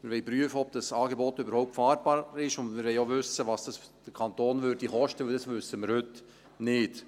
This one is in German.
Wir wollen prüfen, ob dieses Angebot überhaupt fahrbar ist, und wir wollen auch wissen, was es den Kanton kosten würde, denn das wissen wir heute nicht.